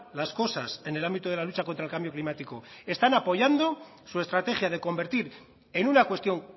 las cosas en el ámbito de la lucha contra el cambio climático están apoyando su estrategia de convertir en una cuestión